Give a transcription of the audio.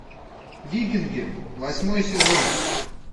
викинги восьмой сезон